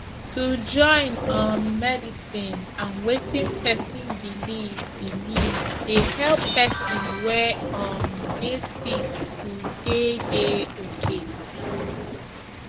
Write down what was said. to join um medicine and wetin pesin believe believe dey help pesin wey um dey sick to dey dey okay